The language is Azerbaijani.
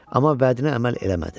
Amma vədinə əməl eləmədi.